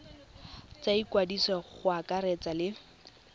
tsa ikwadiso go akaretsa le